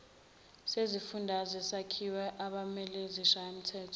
sezifundazwe sakhiwa abameleizishayamthetho